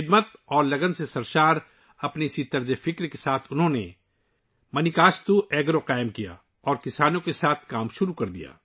خدمت اور لگن سے بھری اس سوچ کے ساتھ، انہوں نے مانیکاستو ایگرو قائم کیا اور کسانوں کے ساتھ کام کرنا شروع کیا